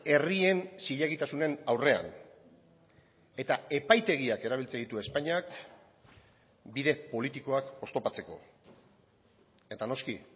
herrien zilegitasunen aurrean eta epaitegiak erabiltzen ditu espainiak bide politikoak oztopatzeko eta noski